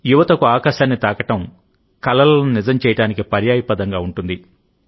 యువతకుఆకాశాన్ని తాకడం కలలను నిజం చేయడానికి పర్యాయపదంగా ఉంటుంది